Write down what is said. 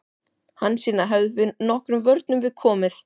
Hansína hefði nokkrum vörnum við komið.